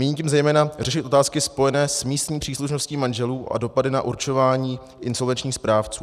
Míním tím zejména řešit otázky spojené s místní příslušností manželů a dopady na určování insolvenčních správců.